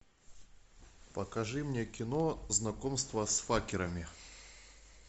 покажи мне кино знакомство с факерами